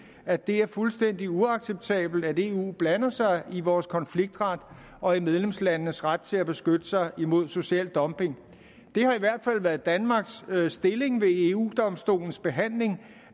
at det er fuldstændig uacceptabelt at eu blander sig i vores konfliktret og i medlemslandenes ret til at beskytte sig imod social dumping det har i hvert fald været danmarks stilling ved eu domstolens behandling